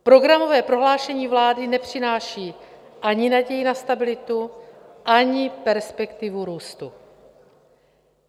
Programové prohlášení vlády nepřináší ani naději na stabilitu, ani perspektivu růstu.